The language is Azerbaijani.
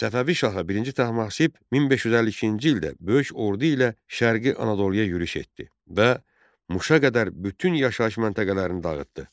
Səfəvi şahı birinci Təhmasib 1552-ci ildə böyük ordu ilə şərqi Anadoluya yürüş etdi və Muşa qədər bütün yaşayış məntəqələrini dağıtdı.